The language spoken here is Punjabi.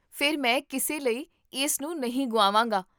ਫਿਰ, ਮੈਂ ਕਿਸੇ ਲਈ ਇਸ ਨੂੰ ਨਹੀਂ ਗੁਆਵਾਂਗਾ